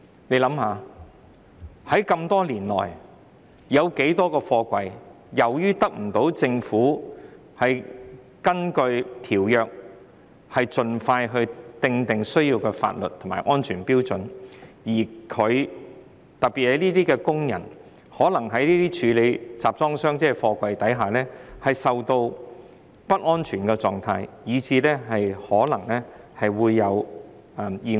大家試想想，這麼多年來有多少個貨櫃是基於政府未能根據《公約》盡快訂定所需的法律和安全標準，而導致工人在處理貨櫃時處於不安全的境況，甚至可能發生意外？